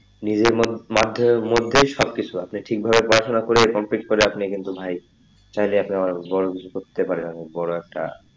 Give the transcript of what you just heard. নিজের মধ্যে মাধ্যে মধ্যে সব কিছু আছে আপনি ঠিক ভাবে পড়াশোনা করে complete করে আপনি কিন্তু ভাই চাইলে আপনি অনেক বড়ো কিছু করতে পারেন অনেক বড়ো একটা,